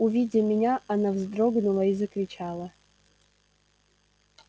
увидя меня она вздрогнула и закричала